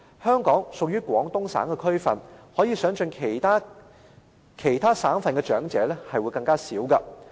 香港屬於廣東省的區份，可以想象其他省份的長者人數便會更少。